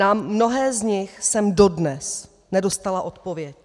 Na mnohé z nich jsem dodnes nedostala odpověď.